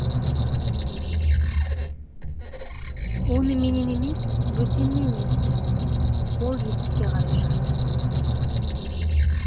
оны менен емес бөтеннен есті ол есікке қарай жүрді